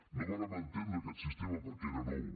no vàrem entendre aquest sistema perquè era nou